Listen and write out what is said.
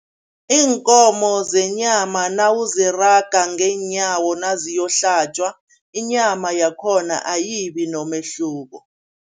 Iinkomo zenyama nawuziraga ngeenyawo naziyohlatjwa, inyama yakhona ayibi nomehluko.